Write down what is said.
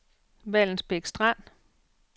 Vallensbæk Strand